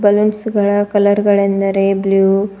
balloons ಗಳ ಕಲರ್ಗಳೆಂದರೆ blue --